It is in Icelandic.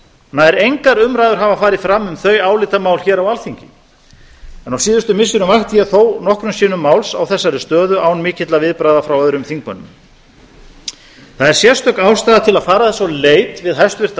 nær engar umræður hafa farið fram um þau álitamál hér á alþingi en á síðustu missirum vakti ég þó nokkrum sinnum máls á þessari stöðu án mikilla viðbragða frá öðrum þingmönnum það er sérstök ástæða til að fara þess á leit við hæstvirtan